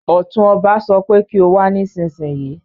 Ọ̀tún ọba sọ pé kí o wá nísinsìnyí